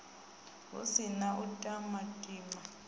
hu si na u timatima